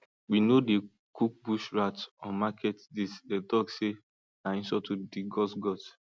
we no dey cook bush rats on market days them tok say na insult to di gods gods